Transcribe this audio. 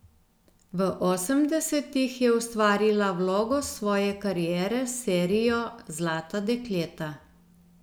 V osemdesetih je ustvarila vlogo svoje kariere s serijo Zlata dekleta.